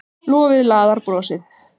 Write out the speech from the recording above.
Lofið laðar brosið.